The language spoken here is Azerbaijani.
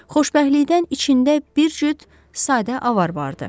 Xoşbəxtlikdən içində bir cüt sadə avar vardı.